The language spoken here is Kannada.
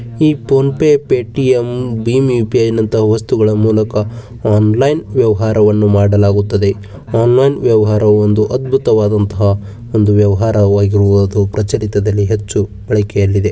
ಈ ಫೋನ್ ಪೇ ಪೇಟಿಎಂ ಬೀನ್ ಯು.ಪಿ.ಐ ನಂತಹ ವಸ್ತುಗಳ ಮೂಲಕ ಆನ್ಲೈನ್ ವ್ಯವಹಾರವನ್ನು ಮಾಡಲಾಗುತ್ತದೆ. ಆನ್ಲೈನ್ ವ್ಯವಹಾರ ಒಂದು ಅದ್ಭುತವಾದಂತಹ ಒಂದು ವ್ಯವಹಾರವಾಗಿರುವುದು ಪ್ರಚಿತ್ ಪ್ರಚಲಿತದಲ್ಲಿ ಅತಿ ಹೆಚ್ಚು ಇದೆ.